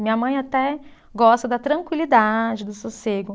Minha mãe até gosta da tranquilidade, do sossego.